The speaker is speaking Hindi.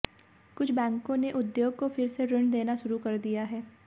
कुछ बैंकों ने उद्योग को फिर से ऋण देना शुरू कर दिया है